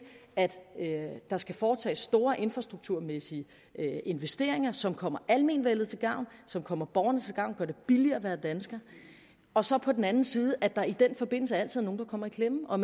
at der skal foretages store infrastrukturmæssige investeringer som kommer almenvellet til gavn og som kommer borgeren til gavn gør det billigere at være dansker og så på den anden side at der i den forbindelse altid er nogle der kommer i klemme og